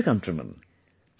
My dear countrymen,